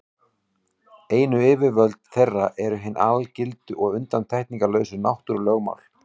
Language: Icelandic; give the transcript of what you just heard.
Einu yfirvöld þeirra eru hin algildu og undantekningarlausu náttúrulögmál.